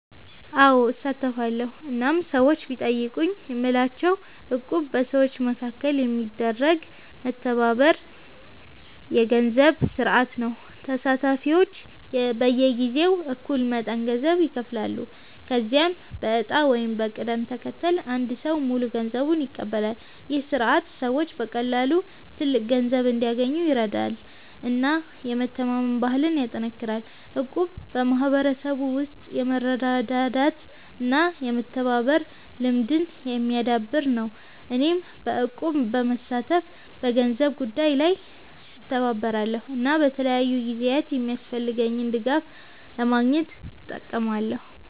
አዎ፣ እሳተፋለሁ እናም ሰዎች ቢጠይቁኝ የምላቸው እቁብ በሰዎች መካከል የሚደረግ የመተባበር የገንዘብ ስርዓት ነው። ተሳታፊዎች በየጊዜው እኩል መጠን ገንዘብ ይከፍላሉ፣ ከዚያም በዕጣ ወይም በቅደም ተከተል አንድ ሰው ሙሉ ገንዘቡን ይቀበላል። ይህ ስርዓት ሰዎች በቀላሉ ትልቅ ገንዘብ እንዲያገኙ ይረዳል እና የመተማመን ባህልን ያጠናክራል። እቁብ በሕብረተሰብ ውስጥ የመረዳዳት እና የመተባበር ልምድን የሚያዳብር ነው። እኔም በእቁብ በመሳተፍ በገንዘብ ጉዳይ ላይ እተባበራለሁ እና በተለያዩ ጊዜያት የሚያስፈልገኝን ድጋፍ ለማግኘት እጠቀማለሁ።